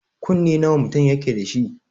Kunne nawa mutum yake dashi?